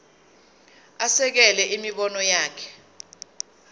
asekele imibono yakhe